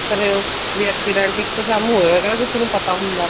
ਅਮ ਵੀ accident ਇੱਕ ਦਮ ਹੋਇਆ ਹੈਗਾ ਵੀ ਕਿਸੇ ਨੂੰ ਪਤਾ ਹੁੰਦਾ